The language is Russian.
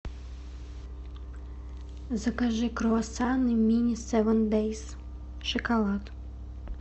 закажи круассаны мини севен дейс шоколад